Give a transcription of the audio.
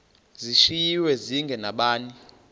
zishiywe zinge nabani